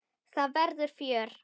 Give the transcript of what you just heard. Það verður fjör.